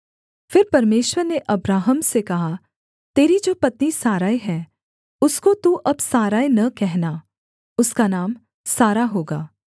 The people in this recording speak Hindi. फिर परमेश्वर ने अब्राहम से कहा तेरी जो पत्नी सारै है उसको तू अब सारै न कहना उसका नाम सारा होगा